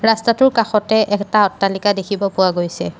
ৰাস্তাটোৰ কাষতে এটা অট্টালিকা দেখিব পোৱা গৈছে।